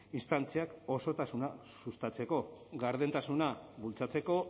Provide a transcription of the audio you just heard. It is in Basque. instantziak osotasuna sustatzeko gardentasuna bultzatzeko